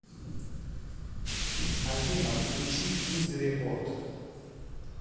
афина включи узрепорт